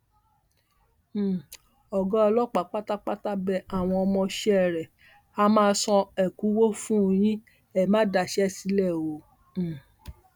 um ọgá ọlọpàá pátápátá bẹ àwọn ọmọọṣẹ rẹ á máa san ẹkúnwọ fún yín ẹ má daṣẹ sílẹ o um